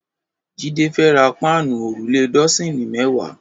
Jide fè rá páànú órúlé dọ̀sín mẹ̀wá